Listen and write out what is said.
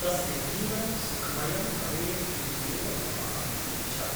तस्य जीवनं सुखमयं भवेत् इत्येव ममापि इच्छा ।